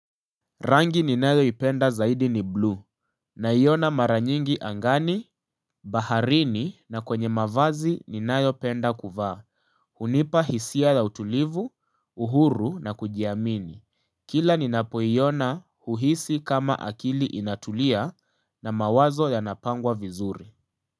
Rangi ni nayo ipenda zaidi ni blue. Na iyona maranyingi angani, baharini na kwenye mavazi ni nayo penda kuvaa. Hunipa hisia la utulivu, uhuru na kujiamini. Kila ni napoiyona huhisi kama akili inatulia na mawazo ya napangwa vizuri.